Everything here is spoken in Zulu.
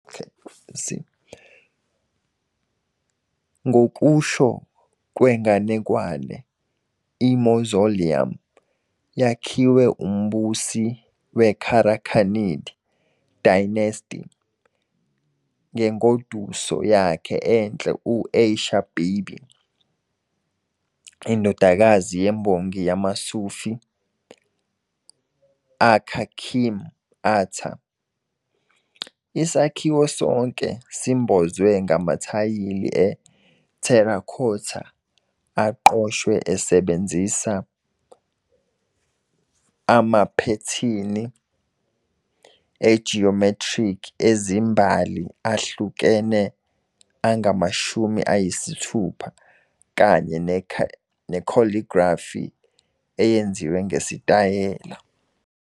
Ngokusho kwenganekwane, i-mausoleum yakhiwe umbusi we-Karakhanid Dynasty ngengoduso yakhe enhle u-Aisha-Bibi, indodakazi yembongi yamaSufi uKhakim-Ata. Isakhiwo sonke simbozwe ngamathayili e- terracotta aqoshiwe esebenzisa amaphethini e-geometric ezimbali ahlukene angama-60 kanye ne-calligraphy eyenziwe ngesitayela.